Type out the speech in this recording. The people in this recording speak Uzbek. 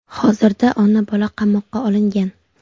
Hozirda ona-bola qamoqqa olingan.